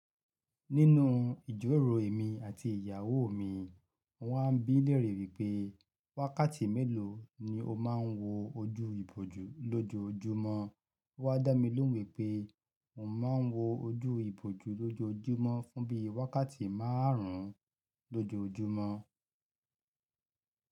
Nínú ìjiroro èmi àti ìyàwó mi, mo wá n bí lèere wípé wákàtí mélòó ni o ma ń wo ojú ìbòjú lójoójúmọ́. Ó wá dá mi lóhun wipé oun ma ń wo ojú ìbòjú lójoójúmọ́ fún bíi wákàtí márùn-ún lójoójúmọ́.